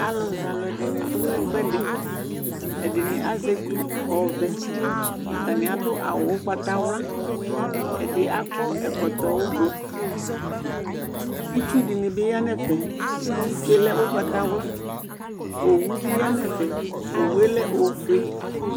alʊ zɛ alʊ dɩnɩ dʊ ɛfʊɛdɩ, ɛdɩnɩ azɛ etu ɔvɛ, atanɩ adʊ awu ugbatawla, ɛdɩ akɔ ɛkɔtɔ avavlitsɛ, itsu dɩnɩ bɩ ya nʊ ɛfɛ, itsu yɛ lɛ ugbatawla, owu bɩ ya nʊ ɛfɛ owu yɛ lɛ ofue